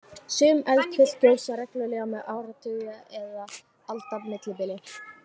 Sum eldfjöll gjósa reglulega með áratuga eða alda millibili.